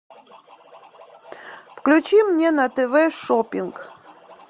включи мне на тв шопинг